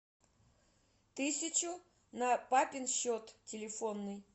тысячу на папин счет телефонный